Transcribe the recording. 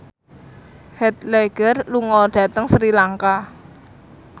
Heath Ledger lunga dhateng Sri Lanka